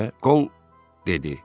Kol?” dedi.